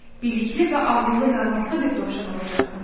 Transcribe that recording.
Bilikli və ağıllı məlumatlı bir dovşan olacaqsan.